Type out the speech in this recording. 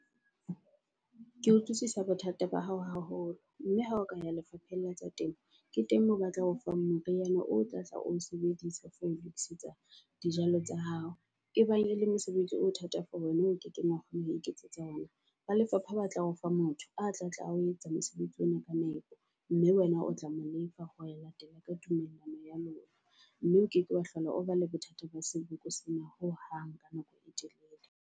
Ke utlwisisa bothata ba hao haholo mme ha o ka ya lefapheng la tsa temo, ke teng moo ba tla o fang moriana o tlatla o sebedise for ho tokisetsa dijalo tsa hao. E bang e le mosebetsi o thata for wena o kekeng wa kgona ho iketsetsa ona ba lefapha ba tla o fa motho a tlatla ao etsa mosebetsi ona ka nepo. Mme wena o tla mo lefa ho latela ka tumellano ya lona mme o keke wa hlola o ba le bothata ba seboko sena hohang ka nako e telele.